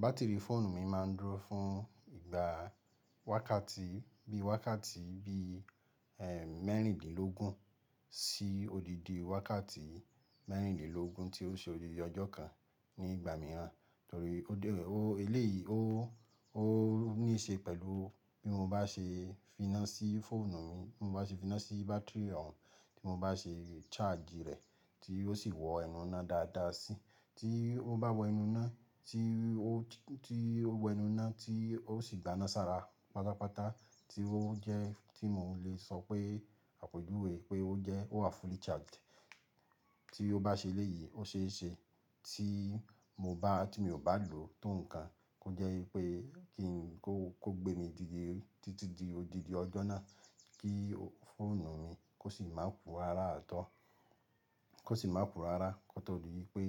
Batiri fóònù mi máa ń dúró fún ìgbà wákàtí bí wákàtí bí, ẹ́ẹ́, mẹ́rìndínlógún sí odidi wákàtí mẹ́rìndínlógún tí ó ṣe odidi ọjọ́ kan nígbà mìíràn. Torí ó dé, ó eléèyí ó, ó níí ṣe pẹ̀lú bí mo bá ṣe finá sí fóònù mi, bí mo bá ṣe finá sí bátìrì rẹ̀, tí mo bá ṣe charge rẹ̀ tí ó sì wọ ẹnu iná dáadáa sí. Tí ó bá wọ ẹnu iná, tí ó, tí ó wọ ẹnu iná tí ó sì gbaná sára pátápátá tí ó jẹ́ tí mo lè sọ pé àpèjúwe pé ó jẹ́ ó wà fully charged. Tí ó bá ṣe léyìí, ó ṣe é ṣe tí mo bá, tí mi ò bá lò tó nǹkan kó jẹ́ wípé kí n kó, kó gbé mi dídi, títí di odidi ọjọ́ náà kí fóònù mi kó sì má purá rá tọ́, kó sì má purá rá kó tó di wípé,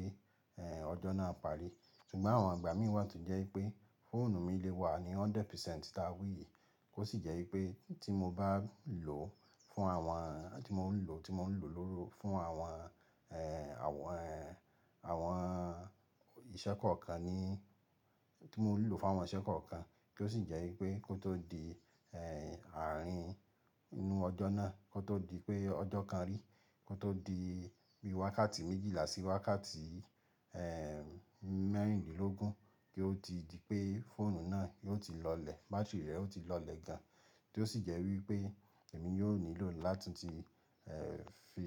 ẹ́ẹ́, ọjọ́ náà parí. Ṣùgbọ́n àwọn ìgbà mìí wà tó jẹ́ wípé fóònù mi lè wà ní hundred percent táwì yìí kó sì jẹ́ wípé tí mo bá lò fún àwọn, tí mo ń lò, tí mo ń lò lóru fún àwọn, ẹ́ẹ́, àwọn, àwọn ìṣẹ́ kọ̀ọ̀kan ní, tí mo ń lò fún àwọn ìṣẹ́ kọ̀ọ̀kan tó sì jẹ wípé kó tó di àrin inú ọjọ nà, kò tó di pé ọjọ kari kó tó di bi wakati méjìlá sí wakati mérìndínlógún tí o tì di pé fóònù náà yóò tí lọlẹ, batiri rẹ ó ti lọlẹ gán tí ó sì jẹ́ wípé èmi yóò nílò látun ti, ẹ́ẹ́, fi,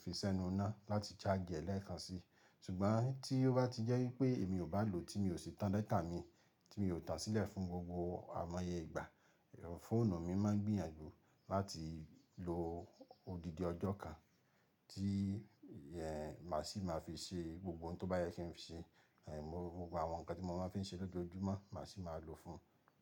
fi sẹ́nu iná láti charge ẹ̀ lẹ́ẹ̀kan si. Ṣùgbọ́n tí ó bá ti jẹ́ wípé èmi ò bá lò, tí mi ò sì tan data mi, tí mi ò tà sílẹ̀ fún gbogbo amáyé ìgbà, fóònù mi máa gbìyànjú láti lo odidi ọjọ́ kan tí, ẹ́ẹ́, màá sì máa fi ṣe gbogbo ohun tó bá yẹ kí n ṣe. Ẹ̀, gbogbo àwọn nǹkan tí mo máa ń fi ṣe lójoojúmọ́ màá sì máa lò fún ún.